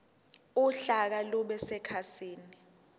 uhlaka lube sekhasini